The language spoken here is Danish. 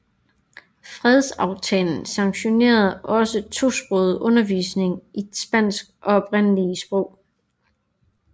Fredsaftalen sanktionerede også tosproget undervisning i spansk og oprindelige sprog